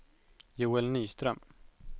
Joel Nyström